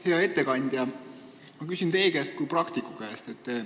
Hea ettekandja, ma küsin teie kui praktiku käest.